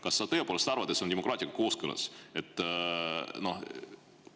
Kas sa tõepoolest arvad, et see on demokraatia kooskõlas?